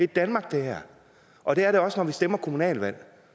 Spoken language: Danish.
danmark det her og det er det også når vi stemmer til kommunalvalg